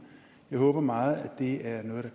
jeg håber meget at det er noget